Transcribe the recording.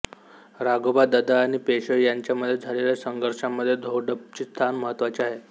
राघोबा दादा आणि पेशवे यांच्यामध्ये झालेल्या संघर्षामध्ये धोडपचे स्थान महत्त्वाचे आहे